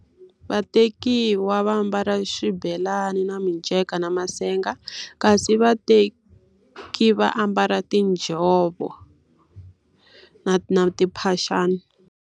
Vatekiwa va ambala xibelani na minceka na masenga, kasi vateki va mbala tinjhovo na na timphaxana.